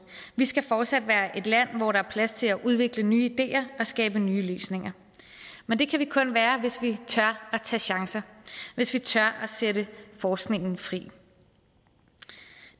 vi skal fortsat være et land hvor der er plads til at udvikle nye ideer og skabe nye løsninger men det kan vi kun være hvis vi tør tage chancer hvis vi tør sætte forskningen fri